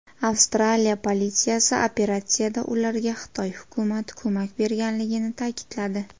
Avstraliya politsiyasi operatsiyada ularga Xitoy hukumati ko‘mak berganligini ta’kidladi.